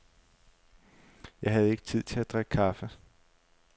Jeg havde ikke tid til at drikke kaffe.